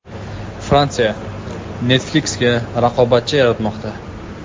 Fransiya Netflix’ga raqobatchi yaratmoqda.